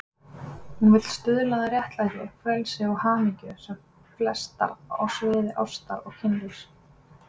Hún vill stuðla að réttlæti, frelsi og hamingju sem flestra á sviði ástar og kynlífs.